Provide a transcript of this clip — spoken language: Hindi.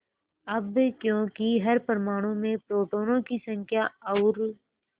अब क्योंकि हर परमाणु में प्रोटोनों की संख्या और